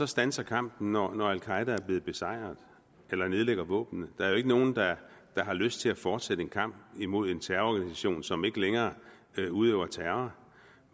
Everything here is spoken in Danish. standser kampen når når al qaeda er blevet besejret eller nedlægger våbnene der er jo ikke nogen der har lyst til at fortsætte en kamp imod en terrororganisation som ikke længere udøver terror